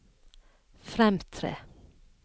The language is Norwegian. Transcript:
fremtre